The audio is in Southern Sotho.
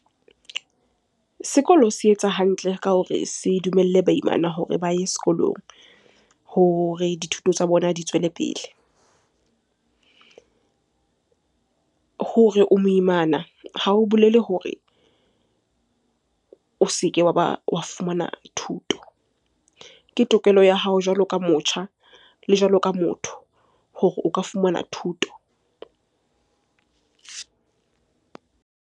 Sekolo se etsa hantle ka hore se dumelle baimana hore ba ye sekolong hore dithuto tsa bona di tswele pele. Hore o moimana, Ha o bolele hore o se ke wa ba wa fumana thuto. Ke tokelo ya hao jwalo ka motjha le jwalo ka motho hore o ka fumana thuto.